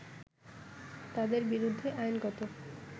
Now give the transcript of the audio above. তাদের বিরুদ্ধে আইনগত